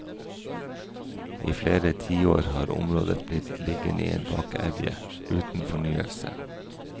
I flere tiår har området blitt liggende i en bakevje, uten fornyelse.